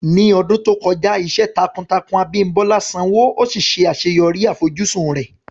Ní ọdún tó kọjá, iṣẹ́ takuntakun Abimbola sanwó, ó sì ṣe àṣeyọrí àfojúsùn rẹ̀.